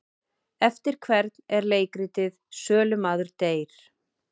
Eftir hvern er leikritið Sölumaður deyr?